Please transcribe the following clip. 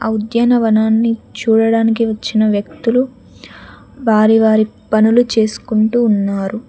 ఆ ఉద్యానవనాన్ని చూడడానికి వచ్చిన వ్యక్తులు వారి వారి పనులు చేసుకుంటూ ఉన్నారు.